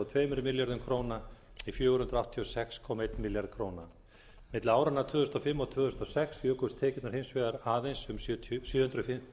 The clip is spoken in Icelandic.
tveimur milljörðum króna í fjögur hundruð áttatíu og sex komma einn milljarð króna milli áranna tvö þúsund og fimm og tvö þúsund og sex jukust tekjurnar hins vegar aðeins um sjö